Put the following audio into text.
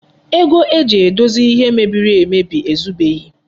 Ego eji dozie ihe e mebiri ezubeghi.